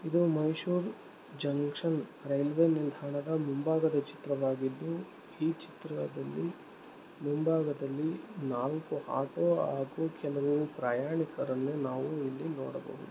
ಇದು Mysore junction railway ನಿಲ್ದಾಣ ಮುಂಭಾಗದಾ ಚಿತ್ತ್ರವಾಗಿದ್ದು ಇ ಚಿತ್ತ್ರದಲ್ಲಿ ಮುಂಭಾಗದಲ್ಲಿ ನಾಲ್ಕು ಆಟೋ ಹಾಗು ಕೆಲವು ಪ್ರಯಾಣಿಕರನ್ನು ನಾವು ಇಲ್ಲಿ ನೋಡಬಹುದು --